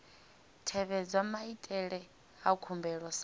tevhedzwa maitele a khumbelo sa